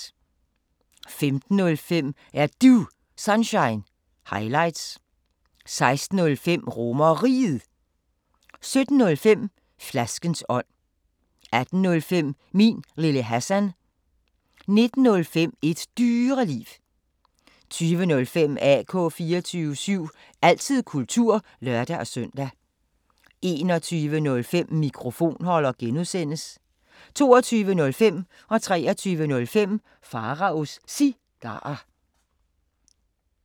15:05: Er Du Sunshine – highlights 16:05: RomerRiget 17:05: Flaskens ånd 18:05: Min Lille Hassan 19:05: Et Dyreliv 20:05: AK 24syv – altid kultur (lør-søn) 21:05: Mikrofonholder (G) 22:05: Pharaos Cigarer 23:05: Pharaos Cigarer